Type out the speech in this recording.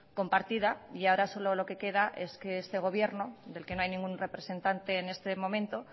compartida y ahora solo lo que queda es que este gobierno del que no hay ningún representante en este momento